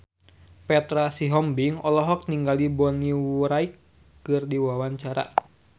Petra Sihombing olohok ningali Bonnie Wright keur diwawancara